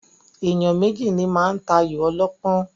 Èèyàn méjì ní máa ń tayò ọlọ́pọ́n.